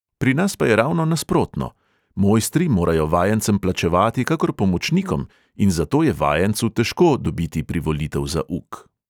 Pri nas pa je ravno nasprotno: mojstri morajo vajencem plačevati kakor pomočnikom in zato je vajencu težko dobiti privolitev za uk.